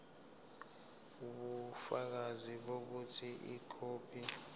ubufakazi bokuthi ikhophi